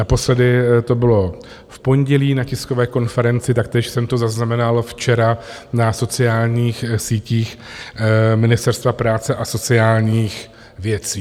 Naposledy to bylo v pondělí na tiskové konferenci, taktéž jsem to zaznamenal včera na sociálních sítích Ministerstva práce a sociálních věcí.